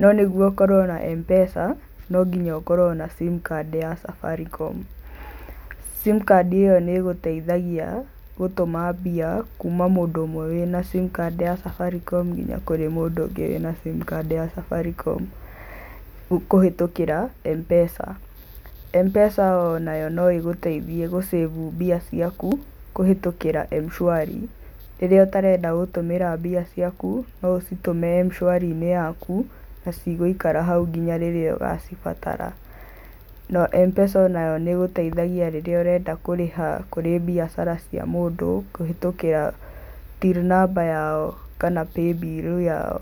No nĩguo ũkorwo na M-PESA, no nginya ukorwo na simcard ya Safaricom. Simcard ĩyo nĩ gũteithagia gũtũma mbia kuma mũndũ ũmwe wĩ na simcard ya Safaricom nginya kũrĩ mũndũ ũngĩ wĩ na simcard ya Safaricom kũhĩtũkĩra M-PESA. M-PESA o nayo no ĩgũteithie gũ save mbia ciaku kũhĩtũkĩra mshwari, rĩrĩa ũtarenda gũtũmĩra mbia ciaku no ũcitũme mshwari-inĩ yaku na cigũikara hau nginya rĩrĩa ũgacibatara. M-PESA o nayo nĩĩgũteithagia rĩríĩ ũrenda kũrĩha kũrĩ biacara cia mũndũ kũhĩtũkĩra till number yao kana paybill yao.